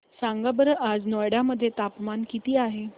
सांगा बरं आज नोएडा मध्ये तापमान किती आहे